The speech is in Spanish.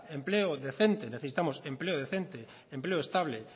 empleo decente necesitamos empleo decente empleo estable